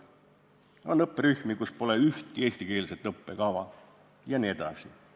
On õpperühmi, kus pole ühtegi eestikeelset õppekava jne.